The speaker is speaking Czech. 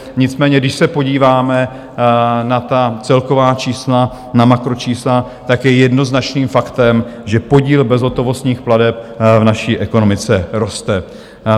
Nicméně když se podíváme na ta celková čísla, na makročísla, tak je jednoznačným faktem, že podíl bezhotovostních plateb v naší ekonomice roste.